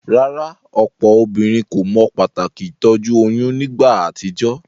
Rárá, òpò obínrin kò mo pàtàkì ìtójú oyún nígba àtijó?